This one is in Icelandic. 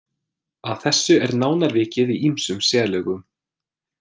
Að þessu er nánar vikið í ýmsum sérlögum.